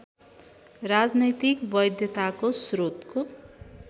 राजनैतिक वैधताको स्रोतको